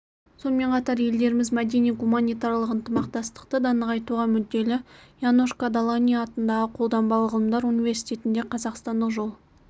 сонымен қатар елдеріміз мәдени-гуманитарлық ынтымақтастықты да нығайтуға мүдделі янош кодолани атындағы қолданбалы ғылымдар университетінде қазақстандық жол